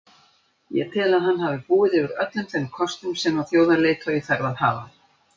Ég tel að hann hafi búið yfir öllum þeim kostum sem þjóðarleiðtogi þarf að hafa.